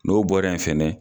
N'o bɔra yeh fana.